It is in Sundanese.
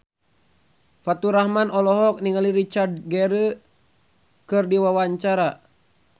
Faturrahman olohok ningali Richard Gere keur diwawancara